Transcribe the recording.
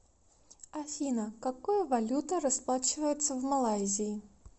афина какой валютой расплачиваются в малайзии